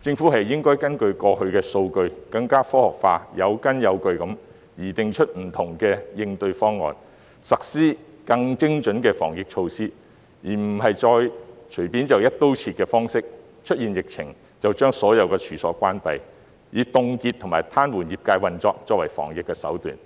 政府應該根據過去的數據，更加科學化、有根有據地擬訂出不同應對方案，實施更精準的防疫措施，而不是再隨便用"一刀切"的方式，當出現疫情時便把所有處所關閉，以凍結和癱瘓業界運作作為防疫手段，